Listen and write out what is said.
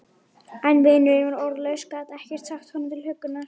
En vinurinn var orðlaus, gat ekkert sagt honum til huggunar.